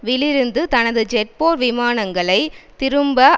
விலிருந்து தனது ஜெட்போர் விமானங்களை திரும்ப